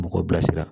Mɔgɔw bilasira